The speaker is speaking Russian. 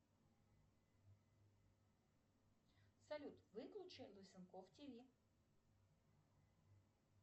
салют выключи лысенков тв